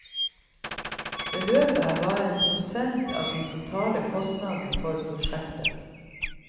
Beløpet er bare en prosent av de totale kostnadene for prosjektet.